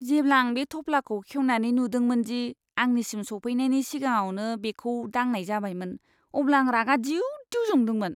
जेब्ला आं बे थफ्लाखौ खेवनानै नुदोंमोन दि आंनिसिम सौफैनायनि सिगाङावनो बेखौ दांनाय जाबायमोन, अब्ला आं रागा दिउ दिउ जादोंमोन।